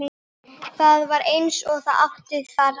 Það var eins og það átti að sér.